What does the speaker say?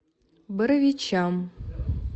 боровичам